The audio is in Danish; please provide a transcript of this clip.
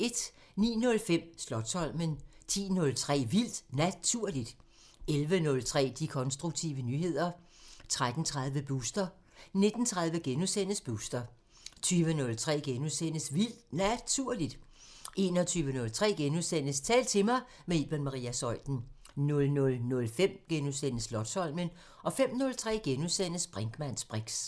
09:05: Slotsholmen 10:03: Vildt Naturligt 11:03: De konstruktive nyheder 13:30: Booster 19:30: Booster * 20:03: Vildt Naturligt * 21:03: Tal til mig – med Iben Maria Zeuthen * 00:05: Slotsholmen * 05:03: Brinkmanns briks *